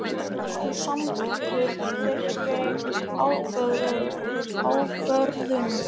Varst þú samþykkur þeirri ákvörðun?